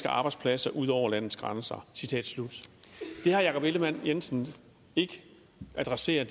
arbejdspladser ud over landets grænser det herre jakob ellemann jensen ikke adresserer